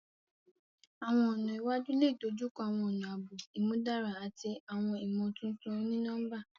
Awọn ọna iwaju le dojukọ awọn ọna aabo imudara ati awọn imotuntun oni-nọmba.